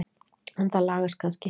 En það lagast kannski.